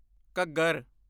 Ghaggar